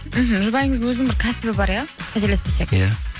мхм жұбайыңыздың өзінің бір кәсібі бар иә қателеспесек иә